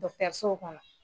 kɔnɔ.